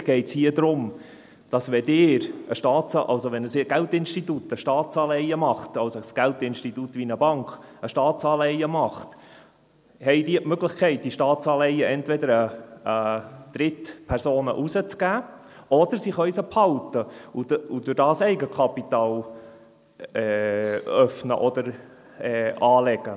Eigentlich geht es hier darum, wenn ein Geldinstitut wie eine Bank ein Staatsanleihen macht, haben sie die Möglichkeit, diese Staatsanle ihen entweder an Drittpersonen herauszugeben, oder sie können sie behalten und dadurch Eigenkapital öffnen oder anlegen.